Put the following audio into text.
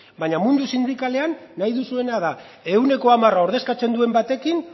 baina mundu sindikalean nahi duzuena da ehuneko hamara ordezkatzen duen batekin